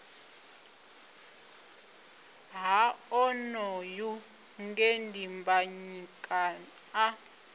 ha onoyu nge dimbanyika a